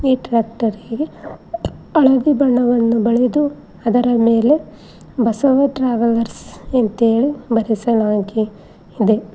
ಈ ಟ್ರ್ಯಾಕ್ಟರ್ ಗೆ ಹಳದಿ ಬಣ್ಣವನ್ನು ಬಳೆದು ಅದರ ಮೇಲೆ ಬಸವ ಟ್ರಾವೆಲ್ರ್ಸ್ ಅಂತ ಹೇಳಿ ಬರೆಸಲಾಗಿದೆ.